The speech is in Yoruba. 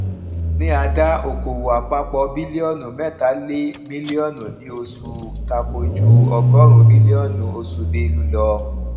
ní àdá òkòwò àpapọ biliọnu mẹta lè mílíọnù ní oṣù takò ju ọgọrin mílíọnù oṣù belu lọ